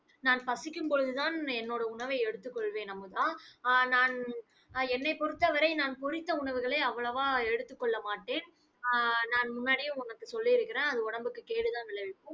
நான் பசிக்கும் பொழுதுதான் என்னோட உணவை எடுத்துக் கொள்வேன் அமுதா. ஆஹ் நான் அஹ் என்னை பொறுத்தவரை நான் பொரித்த உணவுகளை, அவ்வளவாக எடுத்துக்கொள்ள மாட்டேன். ஆஹ் நான் முன்னாடியே உனக்கு சொல்லி இருக்கிறேன். அது உடம்புக்கு கேடுதான் விளைவிக்கும்